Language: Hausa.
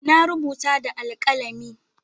Na rubuta da alkalami.